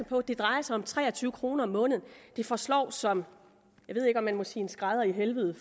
på at det drejer sig om tre og tyve kroner om måneden det forslår som jeg ved ikke om man må sige en skrædder i helvede